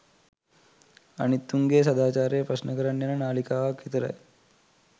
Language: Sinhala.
අනිත් උන්ගේ සදාචාරය ප්‍රශ්න කරන්න යන නාලිකාවක් විතරයි.